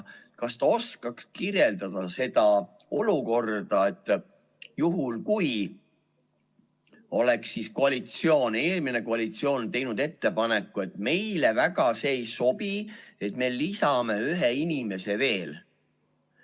Kas ta oskaks kirjeldada seda olukorda, et juhul kui oleks eelmine koalitsioon teinud ettepaneku ja öelnud, et meile see väga ei sobi, me lisame ühe inimese veel?